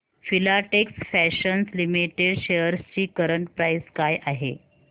Filatex fashions limited shares ची current price काय आहे